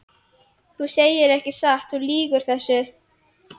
Þú segir ekki satt, þú lýgur þessu!